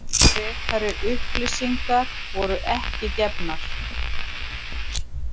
Frekari upplýsingar voru ekki gefnar